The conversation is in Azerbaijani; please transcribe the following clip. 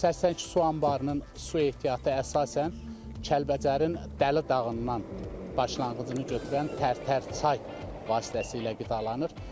Sərsəng su anbarının su ehtiyatı əsasən Kəlbəcərin Dəli dağından başlanğıcını götürən Tərtər çay vasitəsilə qidalanır.